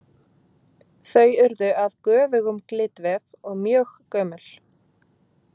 þau urðu að göfugum glitvef og mjög gömul.